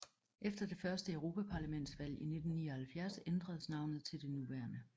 Efter det første europaparlamentsvalg i 1979 ændredes navnet til det nuværende